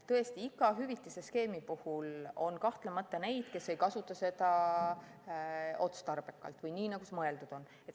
Tõesti, iga hüvitise skeemi puhul on kahtlemata neid, kes ei kasuta seda otstarbekalt või nii, nagu see mõeldud on.